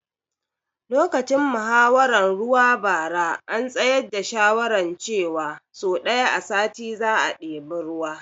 Lokacin muhawaran ruwa bara an tsayar da shawaran ce wa so ɗaya a sati za a ɗebi ruwa